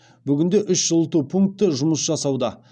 бүгінде үш жылыту пункті жұмыс жасауда